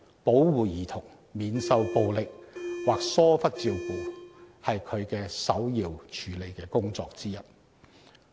保護兒童免受暴力或疏忽照顧是該委員會首要處理的工作之一。